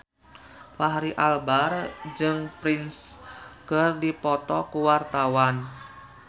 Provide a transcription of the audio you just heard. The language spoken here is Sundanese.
Fachri Albar jeung Prince keur dipoto ku wartawan